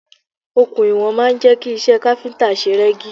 Okùn iwọ̀n máa ń jẹ́ kí iṣẹ́ káfíntà ṣe rẹ́gí.